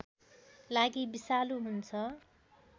लागि विषालु हुन्छ